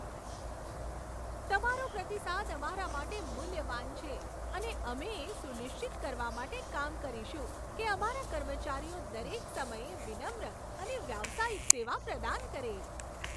તમારો પ્રતિસાદ અમારા માટે મૂલ્યવાન છે અને અમે એ સુનિશ્ચિત કરવા માટે કામ કરીશું કે અમારા કર્મચારીઓ દરેક સમયે વિનમ્ર અને વ્યાવસાયિક સેવા પ્રદાન કરે.